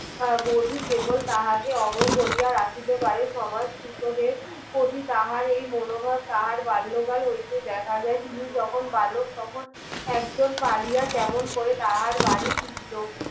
আহ বার্বি কেবল তাহাকে অমর কোরিয়া রাখিতে পারে সমাজ ছুতো দেড় কবি তাহার এই মন ভাব তাহার বাল্য কাল হইতে দেখা যায় তিনি যখন বালক তখন একজন পড়িয়া কেমন করে তাহার বাড়ির লোক